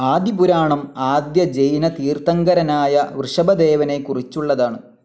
ആദി പുരാണം ആദ്യ ജൈന തീർഥങ്കരനായ വൃഷഭദേവനെ കുറിച്ചുള്ളതാണ്.